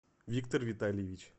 виктор витальевич